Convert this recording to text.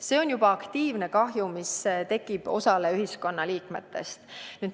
See on juba aktiivne kahju, mis tekib osale ühiskonna liikmetest.